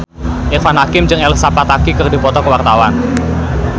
Irfan Hakim jeung Elsa Pataky keur dipoto ku wartawan